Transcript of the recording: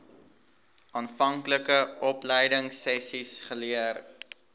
aanvanklike opleidingsessies geleer